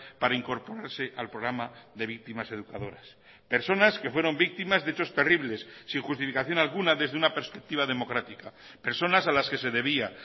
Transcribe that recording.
para incorporarse al programa de víctimas educadoras personas que fueron víctimas de hechos terribles sin justificación alguna desde una perspectiva democrática personas a las que se debía